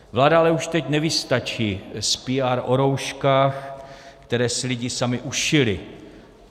Vláda ale už teď nevystačí s PR o rouškách, které si lidi sami ušili.